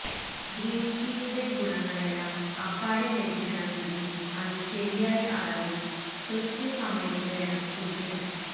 green ടീയുടെ ഗുണങ്ങളെല്ലാം അപ്പാടെ ലഭിക്കണമെങ്കിൽ അത് ശരിയായ അളവിൽ കൃത്യമായ സമയത്ത് വേണം കുടിക്കാൻ